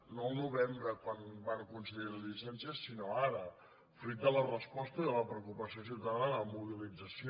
no al novembre quan va concedir les llicències sinó ara fruit de la resposta i de la preocupació ciutadana la mobilització